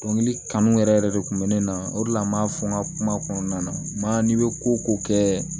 Dɔnkili kanu yɛrɛ yɛrɛ de kun bɛ ne na o de la n m'a fɔ n ka kuma kɔnɔna na n ma n'i bɛ ko ko kɛ